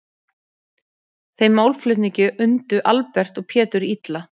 Þeim málflutningi undu Albert og Pétur illa.